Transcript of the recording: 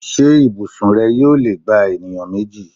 Ṣé ibùsùn rẹ yóò lè gba ènìyàn méjì?